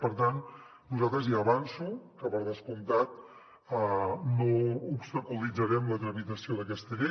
per tant nosaltres ja avanço que per descomptat no obstaculitzarem la tramitació d’aquesta llei